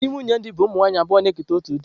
Ndị nwunye di bụ ụmụ nwanyị abụọ na-eketa otu di.